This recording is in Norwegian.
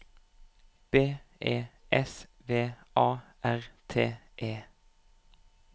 B E S V A R T E